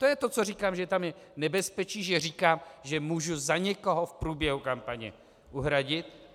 To je to, co říkám, že tam je nebezpečí, že říkám, že můžu za někoho v průběhu kampaně uhradit.